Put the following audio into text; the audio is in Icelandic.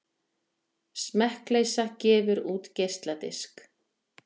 Smekkleysa gefur út geisladisk